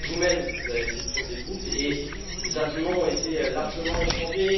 Vous même, vous avez fait le tour des groupes et des arguments ont été largement échangés.